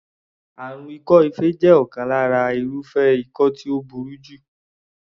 Àrùn ikọ́-ife jẹ́ ọ̀kan lára irúfẹ́ ikọ́ tí ó burú jù.